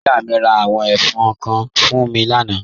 Ìyà mi rá àwọn ẹ̀fọn kán fún mí lànà.